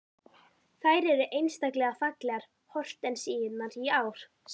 Þær eru einstaklega fallegar hortensíurnar í ár, sagði